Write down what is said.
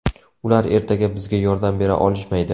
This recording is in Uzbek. Ular ertaga bizga yordam bera olishmaydi.